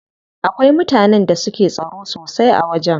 Akwai mutanen da suke tsaro sosai a wajen.